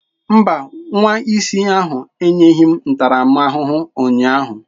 Mba, nwa isi ahụ enyeghị m ntaramahụhụ ụnyaahụ.